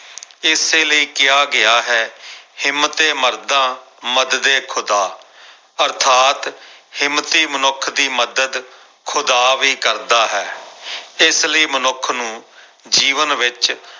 ਇਸੇ ਲਈ ਕਿਹਾ ਗਿਆ ਹੈ ਹਿੰਮਤੇ ਮਰਦਾ ਮਦਦ ਏ ਖੁਦਾ ਅਰਥਾਤ ਹਿੰਮਤੀ ਮਨੁੱਖ ਦੀ ਮਦਦ ਖੁਦਾ ਵੀ ਕਰਦਾ ਹੈ ਇਸ ਲਈ ਮਨੁੱਖ ਨੂੰ ਜੀਵਨ ਵਿੱਚ